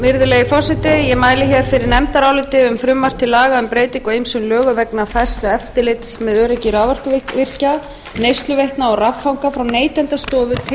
virðulegi forseti ég mæli hér fyrir nefndaráliti um frumvarp til laga um breytingu á ýmsum lögum vegna færslu eftirlits með öryggi raforkuvirkja neysluveitna og raffanga frá neytendastofu til brunamálastofnunar